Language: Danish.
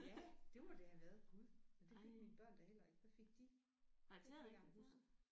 Ja det må det have været gud men det fik mine børn da heller ikke hvad fik de. Det kan jeg ikke engang huske